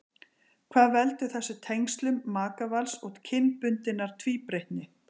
Hvað veldur þessum tengslum makavals og kynbundinnar tvíbreytni?